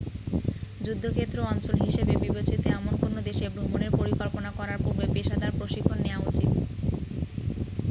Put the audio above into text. যুদ্ধক্ষেত্র অঞ্চল হিসাবে বিবেচিত এমন কোন দেশে ভ্রমণের পরিকল্পনা করার পুর্বে পেশাদার প্রশিক্ষণ নেয়া উচিৎ